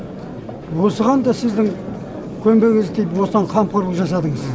осыған да сіздің көмегіңіз тиіп осыған қамқорлық жасадыңыз